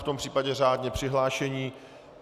V tom případě řádně přihlášení.